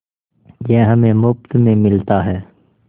यह हमें मुफ्त में मिलता है